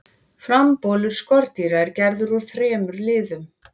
frambolur skordýra er gerður úr þremur liðum